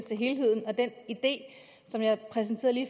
at